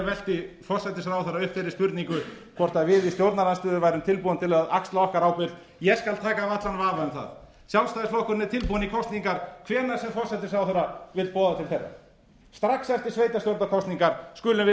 velti forsætisráðherra upp þeirri spurningu hvort við í stjórnarandstöðu værum tilbúin til að axla okkar ábyrgð ég skal taka af allan vafa um það sjálfstæðisflokkurinn er tilbúinn í kosningar hvenær sem forsætisráðherra vill boða til þeirra strax eftir sveitarstjórnarkosningar skulum við